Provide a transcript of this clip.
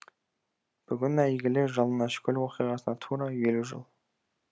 бүгін әйгілі жалаңашкөл оқиғасына тура елу жыл